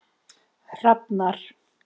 Hrafnar